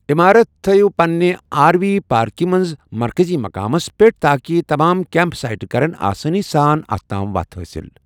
عِمارت تھیِو پننہِ R V پارکہِ منٛز مرکزی مقامس پٮ۪ٹھ تاکہِ تمام کیمپ سائٹہٕ کرن آسٲنی ساں اتھ تام وَتھ حٲصِل۔